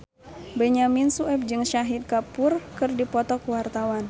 Benyamin Sueb jeung Shahid Kapoor keur dipoto ku wartawan